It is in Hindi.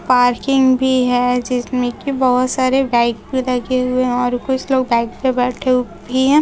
पार्किंग भी है जिसमें की बहोत सारे बाइक पर लगे हुए और कुछ लोग बाइक पर बैठे भी हैं।